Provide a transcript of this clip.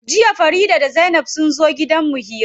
Jiya Farida da zainab sunzo gidan mu hira.